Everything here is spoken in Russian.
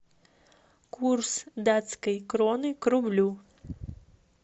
курс датской кроны к рублю